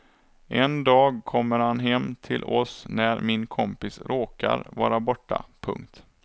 En dag kommer han hem till oss när min kompis råkar vara borta. punkt